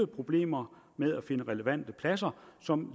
problemer med at finde relevante pladser som